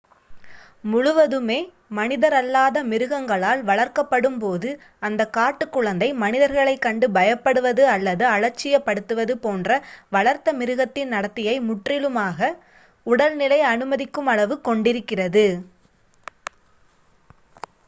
முழுவதுமே மனிதரல்லாத மிருகங்களால் வளர்க்கப்படும் போது அந்தக் காட்டுக் குழந்தை மனிதர்களைக் கண்டு பயப்படுவது அல்லது அலட்சியப் படுத்துவது போன்ற வளர்த்த மிருகத்தின் நடத்தையை முற்றிலுமாகக் உடல்நிலை அனுமதிக்கும் அளவு கொண்டிருக்கிறது